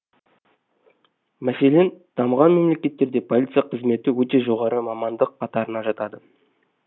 мәселен дамыған мемлекеттерде полиция қызметі өте жоғары мамандық қатарына жатады